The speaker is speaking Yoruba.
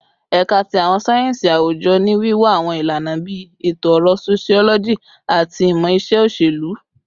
Ẹka ti Awọn sáyẹnsì Awujọ ni wiwa awọn ilana bii Eto-ọrọ, Sociology, ati Imọ-iṣe Oṣelu